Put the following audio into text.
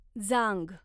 जांघ